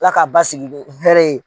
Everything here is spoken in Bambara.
Ala ka basigi ni hɛrɛ ye